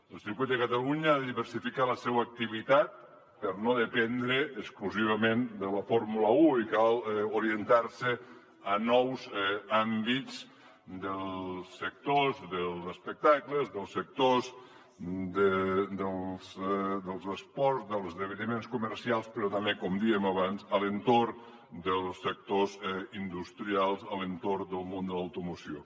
el circuit de catalunya ha de diversificar la seua activitat per no dependre exclusivament de la fórmula un i cal orien tar se a nous àmbits dels sectors dels espectacles dels sectors dels esports dels esdeveniments comercials però també com dèiem abans a l’entorn dels sectors industrials a l’entorn del món de l’automoció